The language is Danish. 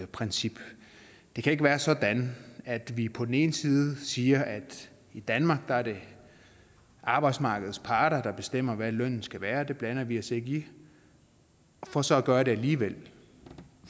princip det kan ikke være sådan at vi på den ene side siger at i danmark er det arbejdsmarkedets parter der bestemmer hvad lønnen skal være det blander vi os ikke i for så på at det alligevel